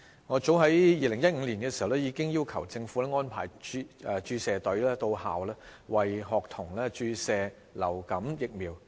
我早於2015年已要求政府安排注射隊到校，為學童注射流感疫苗。